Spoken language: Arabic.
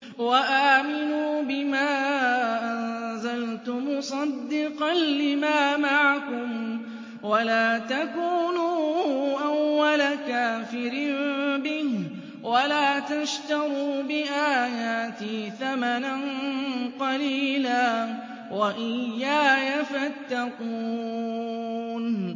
وَآمِنُوا بِمَا أَنزَلْتُ مُصَدِّقًا لِّمَا مَعَكُمْ وَلَا تَكُونُوا أَوَّلَ كَافِرٍ بِهِ ۖ وَلَا تَشْتَرُوا بِآيَاتِي ثَمَنًا قَلِيلًا وَإِيَّايَ فَاتَّقُونِ